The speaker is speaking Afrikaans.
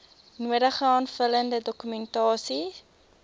nodige aanvullende dokumentasie